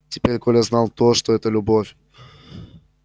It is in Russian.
теперь коля знал точно что это любовь